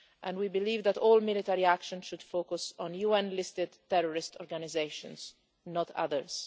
We believe that all military action should focus on UN listed terrorist organisations, not others